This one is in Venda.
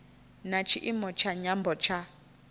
na tshiimo tsha nyambo tsha